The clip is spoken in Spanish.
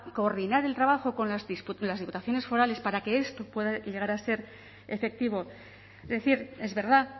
coordinar el trabajo con las diputaciones forales para que esto puede llegar a ser efectivo es decir es verdad